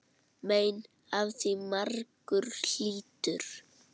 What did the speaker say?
Mein af því margur hlýtur.